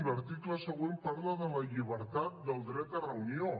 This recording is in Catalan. l’article següent parla de la llibertat del dret a reunió